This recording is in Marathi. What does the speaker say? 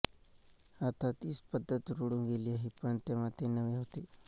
आता ती पद्धत रुळून गेली आहे पण तेव्हा ते नवे होते